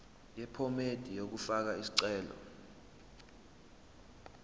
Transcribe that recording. yephomedi yokufaka isicelo